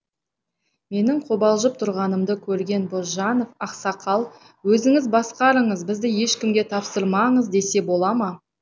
менің қобалжып тұрғанымды көрген бозжанов ақсақал өзіңіз басқарыңыз бізді ешкімге тапсырмаңыз десе бола ма